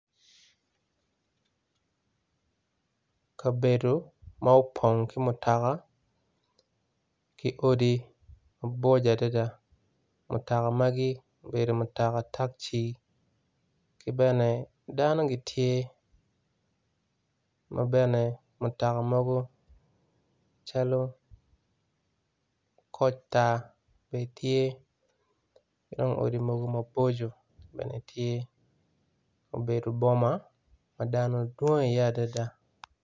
Kabedo ma opong ki mutoka ki odi maboco adada mutoka magi obedo mutoka takci kibene dano gitye mabene mutoka mogo calo kocta bene tye kidong odi mogo maboco bene tye obedo boma madano dwong i ye adada.